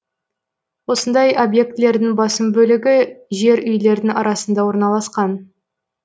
осындай объектілердің басым бөлігі жер үйлердің арасында орналасқан